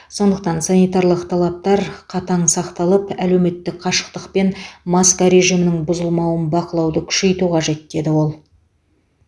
сондықтан санитарлық талаптар қатаң сақталып әлеуметтік қашықтық пен маска режимінің бұзылмауын бақылауды күшейту қажет деді ол